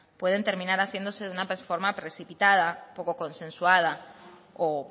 pueden terminar haciéndose de una forma precipitada poco consensuada o